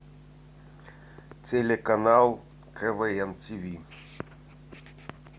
телеканал квн тв